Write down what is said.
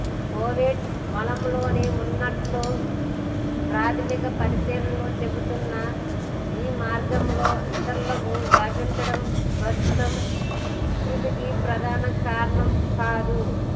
Covid మలంలోనూ ఉన్నట్లు ప్రాథమిక పరిశీలనలు చెబుతున్నా ఈ మార్గంలో ఇతరులకు వ్యాపించడం ప్రస్తుత విస్తృతికి ప్రధాన కారణం కాదు